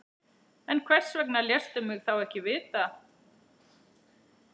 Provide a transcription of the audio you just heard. En hvers vegna léstu mig þá ekki vita?